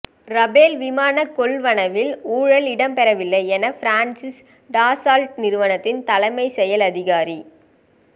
Rafale விமானக் கொள்வனவில் ஊழல் இடம்பெறவில்லை என பிரான்ஸின் டசால்ட் நிறுவனத்தின் தலைமைச் செயல் அதிகாரி